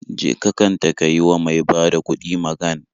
Je ka kanta ka yi wa mai bada kuɗi magan